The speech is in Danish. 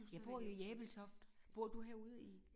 Jeg bor jo i Ebeltoft. Bor du herude i